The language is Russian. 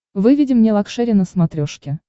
выведи мне лакшери на смотрешке